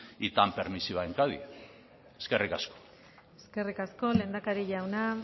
y tan permisiva en cádiz eskerrik asko eskerrik asko lehendakari jauna